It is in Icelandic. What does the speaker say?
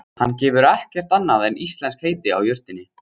Hann gefur ekkert annað íslenskt heiti á jurtinni.